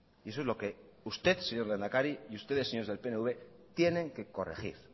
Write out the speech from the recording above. y eso es lo que usted señor lehendakari y ustedes señores del pnv tienen que corregir